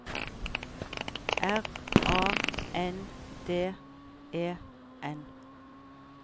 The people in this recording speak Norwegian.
R A N D E N